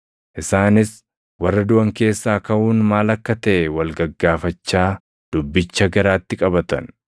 Isaanis “warra duʼan keessaa kaʼuun” maal akka taʼe wal gaggaafachaa dubbicha garaatti qabatan.